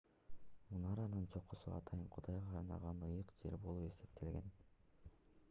мунаранын чокусу атайын кудайга арналган ыйык жер болуп эсептелген